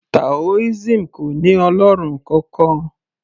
taoism kò ní ọlọ́run kankan